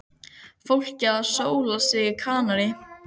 Fólkið að sóla sig á Kanarí.